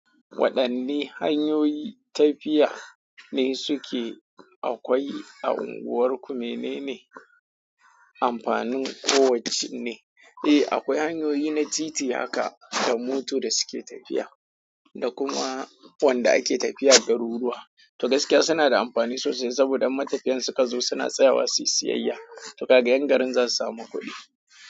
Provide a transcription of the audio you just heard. Waɗanne hanyoyi tafiya ne suke akwai a unguwarku? Mene ne amfanin kowacce ne? Eh, akwai hanyoyi na titi haka da moto da suke tafiya da kuma wanda ake tafiya da garuruwa. To gaskiya suna da amfani sosai saboda matafiyan suka zo suna tsayawa su yi siyayya. To ka gayen garin za su samu kuɗi.